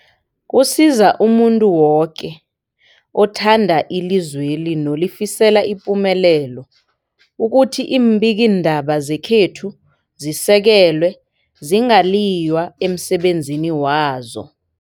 Kusiza umuntu woke othanda ilizweli nolifisela ipumelelo ukuthi iimbikiindaba zekhethu zisekelwe, zingaliywa emsebenzini wazo.